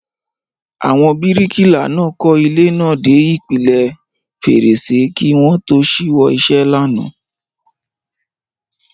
Àwọn bíríkìlà náà kọ́ ilé náà dé ipele fèrèsé kí wọ́n tó ṣíwọ́ iṣẹ́ lánàá